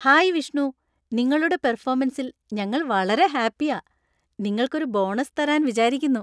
Hi Vishnu, നിങ്ങളുടെ പെർഫോമൻസിൽ ഞങ്ങൾ വളരെ ഹാപ്പിയാ , നിങ്ങൾക്ക് ഒരു ബോണസ് തരാൻ വിചാരിക്കുന്നു.